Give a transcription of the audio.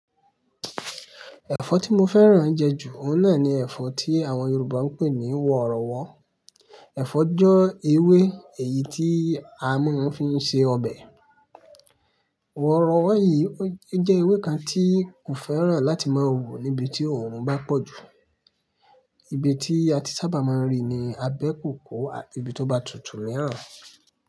Ẹ̀fọ́ tí mo fẹ́ràn jẹ jù, òun náà ni ẹ̀fọ́ tí àwọn Yorùbá ń pè ní wọ̀rọ̀wọ̀. Ẹ̀fọ́ jẹ́ ewé èyí tí a máa ń fi ń ṣe ọbẹ̀. Wọ̀rọ̀wọ̀ yìí jẹ́ ewé kan tí kò fẹ́ràn láti máa wù níbi tí òòrùn bá pọ̀jù. Ibi tí a ti sábà máa ń rí ni abẹ́ kòkó, ati ibi tó bá tutù miran.